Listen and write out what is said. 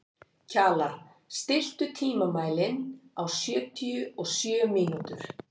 Kjalar, stilltu tímamælinn á sjötíu og sjö mínútur.